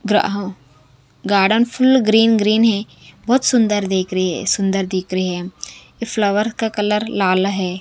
ग्राह garden full green green है। बहोत सुंदर देख रही है सुंदर दिख रही है। ये फ्लावर का कलर लाल है।